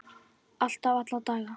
Alltaf, alla daga.